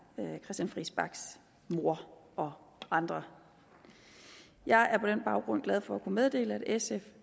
christian friis bachs mor og andre jeg er på den baggrund glad for at kunne meddele at sf